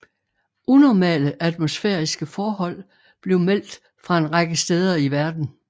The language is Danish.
Unormale atmosfæriske forhold blev meldt fra en række steder i verden